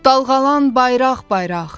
Dalğalan bayraq-bayraq.